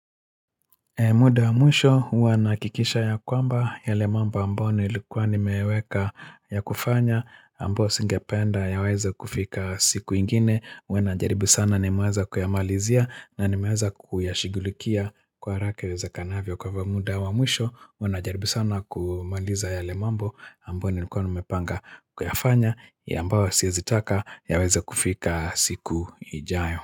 Muda wa mwisho huwa nahakikisha ya kwamba yale mambo ambao nilikuwa nimeweka yakufanya ambao singependa yaweze kufika siku ingine huwa najaribu sana nimeweza kuyamalizia na nimeweza kuyashugulikia kwa haraka iwezakanavyo kwa ivyo muda wa mwisho huwa najaribu sana kumaliza yale mambo ambao nilikuwa nimepanga kuyafanya ya ambao siezi taka yaweze kufika siku ijayo.